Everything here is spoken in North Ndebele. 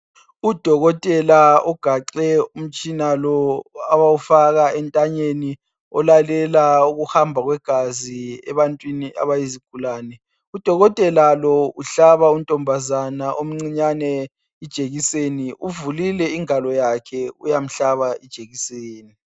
Udokotela ugaxe umtshina lo abawufaka entanyeni olalela ukuhamba kwegazi ebantwini abayizigulani. Udokotela uhlaba untombazana omcinyane ijekiseni uvulile ingalo yakhe uyamhlaba ijekiseni.